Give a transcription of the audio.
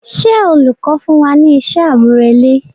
Ṣé olùkọ́ fún wa ní iṣẹ́ àmúrelé?